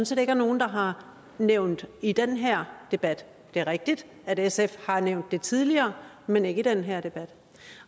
set ikke er nogen der har nævnt i den her debat det er rigtigt at sf har nævnt det tidligere men ikke i den her debat